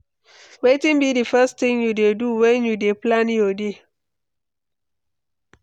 wetin be di first thing you dey do when you dey plan your day?